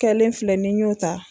Kɛlen filɛnen filɛ n'i y'o ta